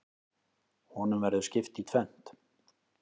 Honum verður skipt í tvennt.